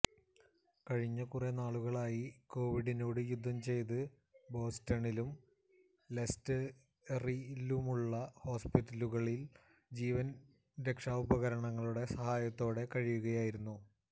കഴിഞ്ഞ കുറെ നാളുകളായി കോവിഡിനോട് യുദ്ധം ചെയ്ത് ബോസ്റ്റണിലും ലെസ്റ്ററിലുമുള്ള ഹോസ്പിറ്റലുകളിൽ ജീവൻ രക്ഷാ ഉപകരണങ്ങളുടെ സഹായത്തോടെ കഴിയുകയായിരുന്നു